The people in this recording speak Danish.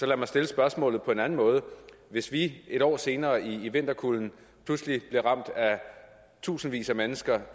lad mig stille spørgsmålet på en anden måde hvis vi et år senere i vinterkulden pludselig igen blev ramt af tusindvis af mennesker